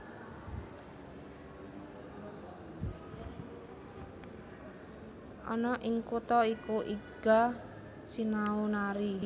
Ana ing kutha iku Iga sinau nari